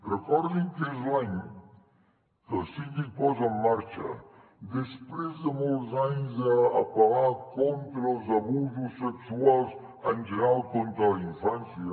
recordin que és l’any que el síndic posa en marxa després de molts anys d’apel·lar contra els abusos sexuals en general contra la infància